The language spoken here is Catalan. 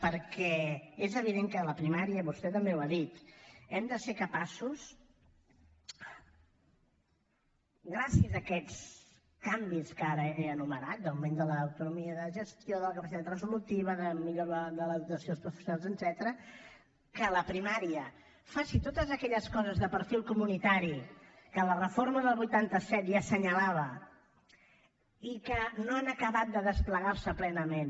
perquè és evident que la primària vostè també ho ha dit hem de ser capaços gràcies a aquests canvis que ara he enumerat d’augment de l’autonomia de gestió de la capacitat resolutiva de millora de la dotació dels professionals etcètera que la primària faci totes aquelles coses de perfil comunitari que la reforma del vuitanta set ja assenyalava i que no han acabat de desplegar se plenament